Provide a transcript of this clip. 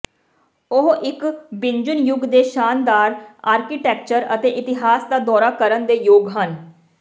ਉਹ ਇੱਕ ਬਿਜੁਂਨ ਯੁੱਗ ਦੇ ਸ਼ਾਨਦਾਰ ਆਰਕੀਟੈਕਚਰ ਅਤੇ ਇਤਿਹਾਸ ਦਾ ਦੌਰਾ ਕਰਨ ਦੇ ਯੋਗ ਹਨ